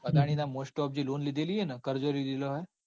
અદાણી ના જે mostoff loan લીધેલી હન જે કરજો લીધેલો હ.